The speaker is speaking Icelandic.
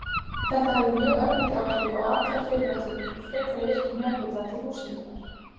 Þetta hafði mjög örvandi áhrif á allar fyrirætlanir um frekari virkjun jarðhita til húshitunar.